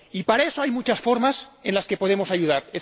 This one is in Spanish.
Y para eso hay muchas formas en las que podemos ayudar.